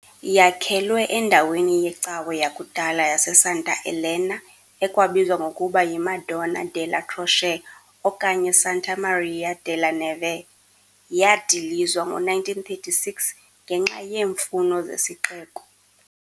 Yakhelwe endaweni yecawe yakudala yaseSanta Elena, ekwabizwa ngokuba yi "Madonna della Croce", okanye "Santa Maria della Neve", yadilizwa ngo-1936 ngenxa yeemfuno zesixeko.